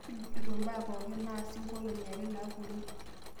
tujuto mbaa pooki naasa nkolongi are napuonu